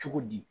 Cogo di